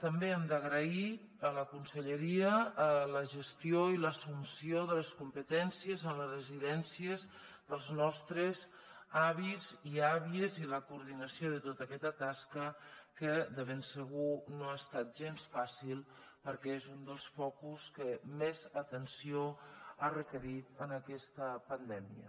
també hem d’agrair a la conselleria la gestió i l’assumpció de les competències en les residències dels nostres avis i àvies i la coordinació de tota aquesta tasca que de ben segur no ha estat gens fàcil perquè és un dels focus que més atenció ha requerit en aquesta pandèmia